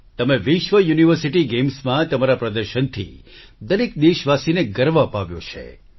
તમે વિશ્વ યુનિવર્સિટી ગેમ્સમાં તમારા પ્રદર્શનથી દરેક દેશવાસીને ગર્વ અપાવ્યો છે